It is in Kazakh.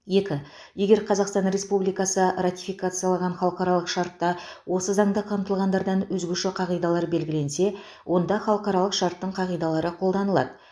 екі егер қазақстан республикасы ратификациялаған халықаралық шартта осы заңда қамтылғандардан өзгеше қағидалар белгіленсе онда халықаралық шарттың қағидалары қолданылады